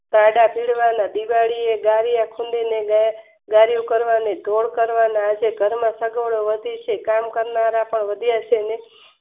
પીડવાના બીજા ગલિયા ખૂંદીને ગાદલા કરવાના ઘર ઘર કરવાના આજે સજાનો વધી છે કામ કરનારા પણ વધ્યા છે